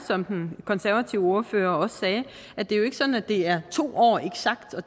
som den konservative ordfører sagde er det jo ikke sådan at det er to år eksakt og